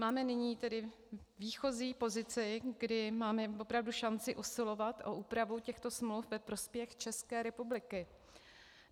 Máme nyní tedy výchozí pozici, kdy máme opravdu šanci usilovat o úpravu těchto smluv ve prospěch České republiky.